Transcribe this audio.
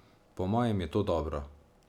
Po mojem je to dobro.